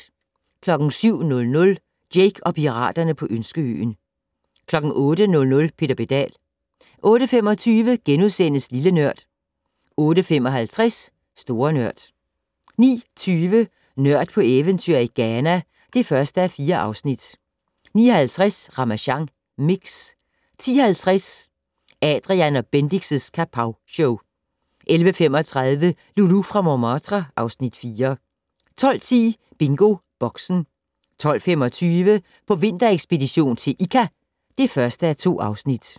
07:00: Jake og piraterne på Ønskeøen 08:00: Peter Pedal 08:25: Lille Nørd * 08:55: Store Nørd 09:20: Nørd på eventyr i Ghana (1:4) 09:50: Ramasjang Mix 10:50: Adrian & Bendix' Kapowshow 11:35: Loulou fra Montmartre (Afs. 4) 12:10: BingoBoxen 12:25: På vinterekspedition til Ikka (1:2)